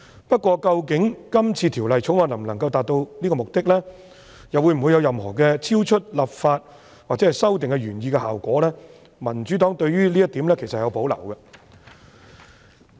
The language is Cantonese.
不過，究竟《條例草案》能否達致這個目的，又或會否產生任何超出立法或修訂原來希望達致的效果，民主黨對於這一點其實有保留。